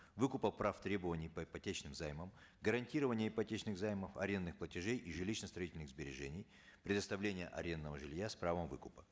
выкупа прав требований по ипотечным займам гарантирование ипотечных займов арендных платежей и жилищно строительных сбережений предоставление арендного жилья с правом выкупа